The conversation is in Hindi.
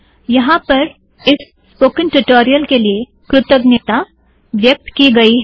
यहाँ पर इस स्पोकेन ट्यूटोरियल के लिए कृतज्ञता व्यक्त की गयी है